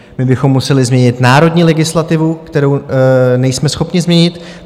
My bychom museli změnit národní legislativu, kterou nejsme schopni změnit.